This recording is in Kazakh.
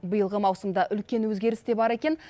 биылғы маусымда үлкен өзгеріс те бар екен